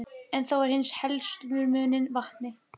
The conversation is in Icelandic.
En þó er eins og herslumuninn vanti.